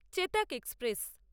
Chetak express